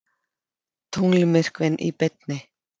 Tunglmyrkvinn í beinni